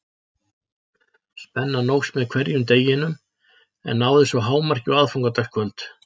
Spennan óx með hverjum deginum en náði svo hámarki á aðfangadagskvöld.